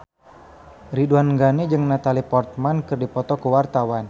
Ridwan Ghani jeung Natalie Portman keur dipoto ku wartawan